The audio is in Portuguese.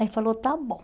Aí falou, está bom.